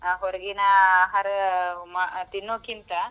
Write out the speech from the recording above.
ಆ ಹೊರಗಿನ ಆಹಾರ ತಿನ್ನೋಕ್ಕಿಂತ.